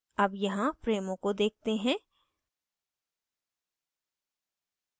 अब यहाँ frames को देखते हैं